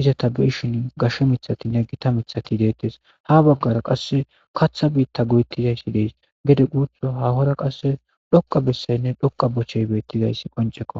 Izeta ta beyishin gashe mithatinne gita miththati deetes. Ha baggara qasse kaththa biita goyetizaysi deesi. Gede guuthu haahora qasse dhoqqa bessaynne dhoqqa bochey beetizays qonceko